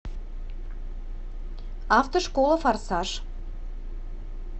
автошкола форсаж